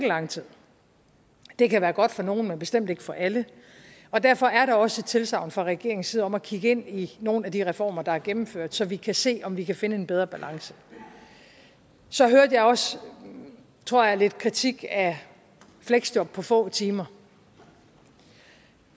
lang tid det kan være godt for nogle men bestemt ikke for alle og derfor er der også et tilsagn fra regeringens side om at kigge ind i nogle af de reformer der er gennemført så vi kan se om vi kan finde en bedre balance så hørte jeg også tror jeg lidt kritik af fleksjob på få timer